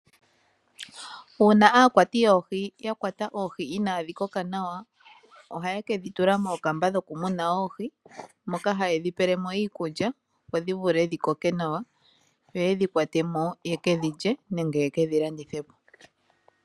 Uuna aakwati yoohi ya kwata oohi inaadhi koka nawa ohaye ke dhi tula moondama dhokumuna oohi moka haye dhi pele mo iikulya, opo dhi vule dhi koke nawa yo ye dhi kwate mo wo ye ke dhi lye nenge ye ke dhi landithe po.